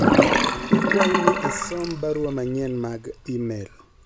akwayi ni isom barua manyien mag email